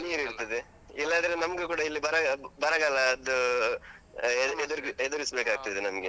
ನೀರಿರ್ತದೆ ಇಲ್ಲದ್ರೆ ನಮ್ಗೂ ಕೂಡ ಇಲ್ಲೀ ಬರ~ ಬರಗಾಲದ್ದೂ. ಆ ಎದುರಿದ್~ ಎದುರಿಸ್ಬೇಕಾಗ್ತದೆ ನಮ್ಗೆ.